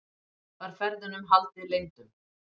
Var ferðunum haldið leyndum